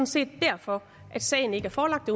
set derfor sagen ikke er forelagt